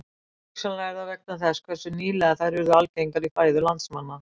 Hugsanlega er það vegna þess hversu nýlega þær urðu algengar í fæðu landsmanna.